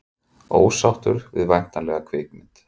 Ósáttur við væntanlega kvikmynd